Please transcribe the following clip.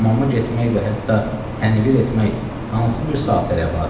Hamama getmək və hətta tənvir etmək hansı bir saatda rəvadır?